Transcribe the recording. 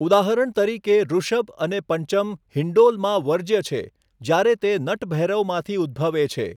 ઉદાહરણ તરીકે, ઋષભ અને પંચમ હિન્ડોલમાં વર્જ્ય છે જ્યારે તે નટભૈરવમાંથી ઉદ્ભવે છે.